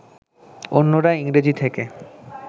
অন্যরা ইংরেজি থেকে